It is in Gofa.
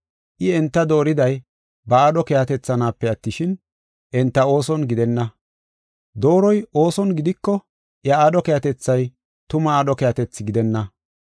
I enta dooriday ba aadho keehatethanaape attishin, enta ooson gidenna. Dooroy ooson gidiko, iya aadho keehatethay tuma aadho keehatethi gidenna.